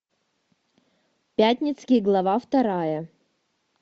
пятницкий глава вторая